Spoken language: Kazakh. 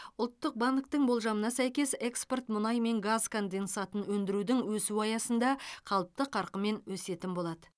ұлттық банктің болжамына сәйкес экспорт мұнай мен газ конденсатын өндірудің өсуі аясында қалыпты қарқынмен өсетін болады